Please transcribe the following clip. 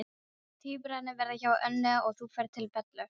Tvíburarnir verða hjá Önnu og þú ferð til Bellu.